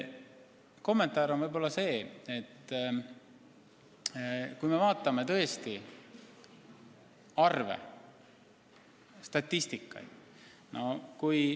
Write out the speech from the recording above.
Kommentaar on selline, et vaadakem arve, statistikat!